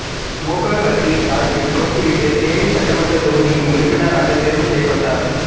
மு க கட்சியின் சார்பில் போட்டியிட்டு தேனி சட்டமன்றத் தொகுதியின் உறுப்பினராக தேர்வு செய்யப்பட்டவர்